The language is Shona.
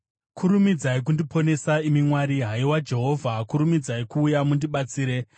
Kurumidzai kundiponesa, imi Mwari; Haiwa Jehovha kurumidzai kuuya mundibatsire.